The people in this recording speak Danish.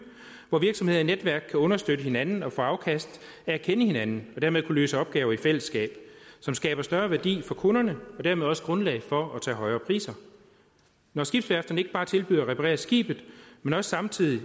hvor virksomheder og netværk kan understøtte hinanden og få afkast af at kende hinanden og dermed kunne løse opgaver i fællesskab som skaber større værdi for kunderne og dermed også grundlag for at tage højere priser når skibsværfterne ikke bare tilbyder at reparere skibet men også samtidig